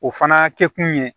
O fana kɛ kun ye